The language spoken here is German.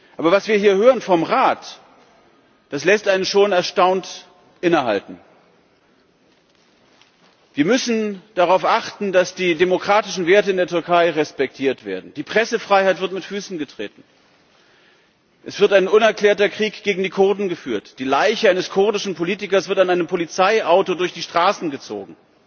Aber was wir hier vom Rat hören, lässt einen schon erstaunt innehalten. Wir müssen darauf achten, dass die demokratischen Werte in der Türkei respektiert werden. Die Pressefreiheit wird mit Füßen getreten, es wird ein unerklärter Krieg gegen die Kurden geführt, die Leiche eines kurdischen Politikers wird an einem Polizeiauto durch die Straßen gezogen,